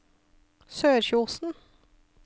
Sørkjosen